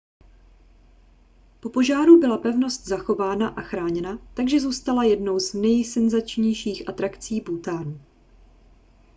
po požáru byla pevnost zachována a chráněna takže zůstala jednou z nejsenzačnějších atrakcí bhútánu